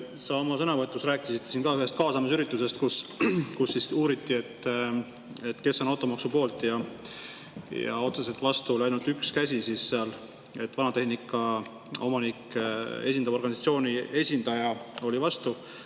Sa oma sõnavõtus rääkisid ka ühest kaasamisüritusest, kus uuriti, kes on automaksu poolt, ja otseselt vastu oli ainult üks käsi: vanatehnika omanikke esindava organisatsiooni esindaja oli vastu.